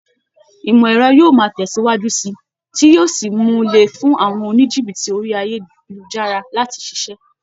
Ìmọ̀ ẹ̀rọ yóò máa tẹ̀síwájú síi, tí yí ó sì mú un le fún àwọn oníjìbìtì orí ayélujára láti ṣiṣẹ́.